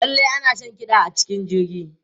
Lallai ana shan kiɗa a cikin jirgi.